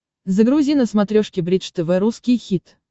загрузи на смотрешке бридж тв русский хит